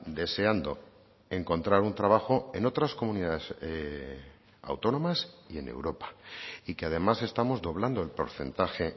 deseando encontrar un trabajo en otras comunidades autónomas y en europa y que además estamos doblando el porcentaje